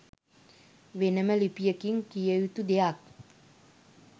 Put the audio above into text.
වෙනම ලිපියකින් කිවයුතු දෙයක්.